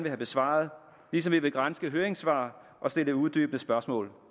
have besvaret ligesom vi vil granske høringssvar og stille uddybende spørgsmål